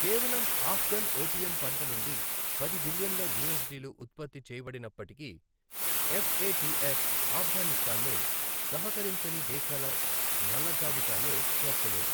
కేవలం ఆఫ్ఘన్ ఓపియం పంట నుండి పది బిలియన్ల యూఎస్డి లు ఉత్పత్తి చేయబడినప్పటికీ, ఎఫ్ ఏ టి ఎఫ్ ఆఫ్ఘనిస్తాన్ను సహకరించని దేశాల నల్లజాబితాలో చేర్చలేదు.